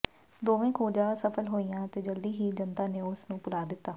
ਦੋਵੇਂ ਖੋਜਾਂ ਅਸਫਲ ਹੋਈਆਂ ਅਤੇ ਜਲਦੀ ਹੀ ਜਨਤਾ ਨੇ ਉਨ੍ਹਾਂ ਨੂੰ ਭੁਲਾ ਦਿੱਤਾ